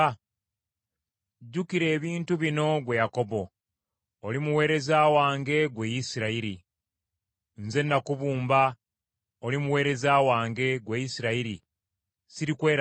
“Jjukira ebintu bino, ggwe Yakobo; oli muweereza wange ggwe Isirayiri. Nze nakubumba, oli muweereza wange, ggwe Isirayiri sirikwerabira.